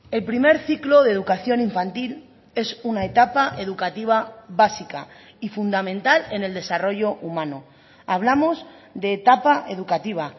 el primer ciclo de educación infantil es una etapa educativa básica y fundamental en el desarrollo humano hablamos de etapa educativa